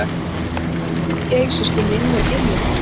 Maturinn geysist um í innyflunum.